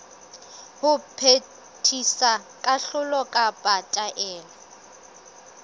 ho phethisa kahlolo kapa taelo